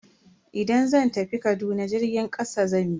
Idan zan tafi Kaduna jirgin kasa zan bi.